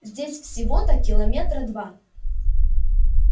здесь всего-то километра два